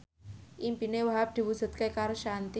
impine Wahhab diwujudke karo Shanti